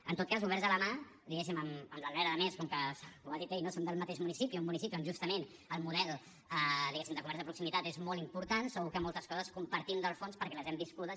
en tot cas oberts a la mà diguéssim amb l’albert a més com que ho ha dit ell no som del mateix municipi un municipi on justament el model de comerç de proximitat és molt important segur que moltes coses compartim del fons perquè les hem viscudes